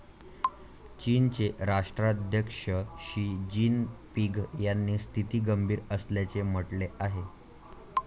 चीनचे राष्ट्राध्यक्ष Xi Jinping यांनी स्थिती गंभीर असल्याचे म्हटले आहे.